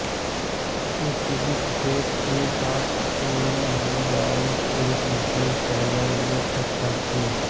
उच्च bit set के साथ कोई भी बाइट एक विशेष टेलनेट अक्षर थी